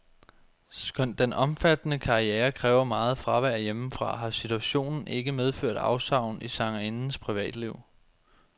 Skønt den omfattende karriere kræver meget fravær hjemmefra, har situationen ikke medført afsavn i sangerindens privatliv.